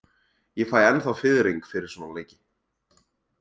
Ég fæ ennþá fiðring fyrir svona leiki.